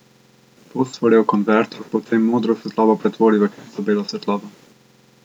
Fosforjev konvertor potem modro svetlobo pretvori v čisto belo svetlobo.